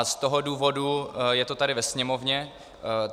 A z toho důvodu je to tady ve Sněmovně.